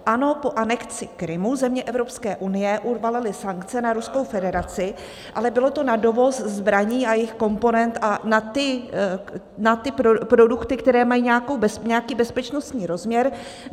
Ano, po anexi Krymu země Evropské unie uvalily sankce na Ruskou federaci, ale bylo to na dovoz zbraní a jejich komponent a na ty produkty, které mají nějaký bezpečnostní rozměr.